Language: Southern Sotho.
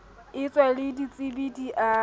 etswe le ditsebi di a